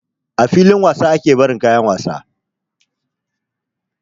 A filin wasa ake barin kayan wasa